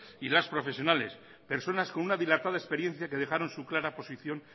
y las profesionales personas con una dilatada experiencia que dejaron su clara posición